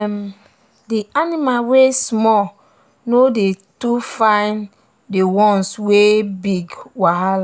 d animals wey small no dey too find the ones wey big wahala